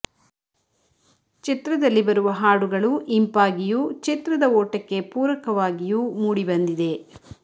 ಚಿತ್ರದಲ್ಲಿ ಬರುವ ಹಾಡುಗಳು ಇಂಪಾಗಿಯೂ ಚಿತ್ರದ ಓಟಕ್ಕೆ ಪೂರಕವಾಗಿಯೂ ಮೂಡಿ ಬಂದಿದೆ